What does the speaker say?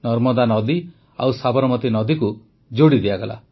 ନର୍ମଦା ନଦୀ ଓ ସାବରମତୀ ନଦୀକୁ ଯୋଡ଼ି ଦିଆଗଲା